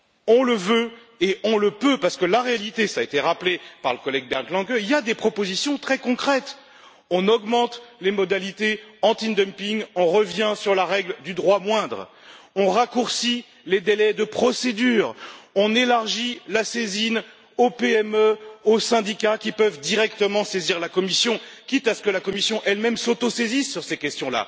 On le veut et on le peut, parce que la réalité cela a été rappelé par le collègue Bernd Lange c'est qu'il y a des propositions très concrètes on augmente les modalités anti dumping, on revient sur la règle du droit moindre, on raccourcit les délais de procédure, on élargit la saisine aux PME, aux syndicats qui peuvent directement saisir la Commission, quitte à ce que la Commission, elle même, s'autosaisisse sur ces questions.